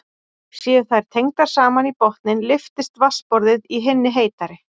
Séu þær tengdar saman í botninn lyftist vatnsborðið í hinni heitari.